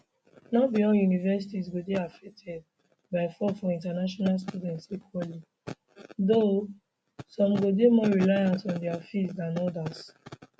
no be all universities go dey affected by fall for international students equally though some go dey more reliant on dia fees dan odas